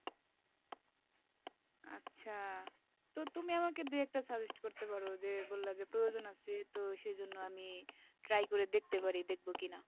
আচ্ছা তো তুমি আমাকে দু একটা suggest করতে পারো সে বললে যে প্রয়োজন আছে তো সেই জন্য আমি ট্রাই করে দেখতে পারি দেখব কিনা,